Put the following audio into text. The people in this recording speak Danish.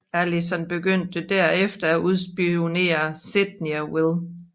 Allison begyndte derefter at udspionere Sydney og Will